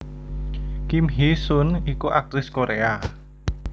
Kim Hee sun iku aktris Korea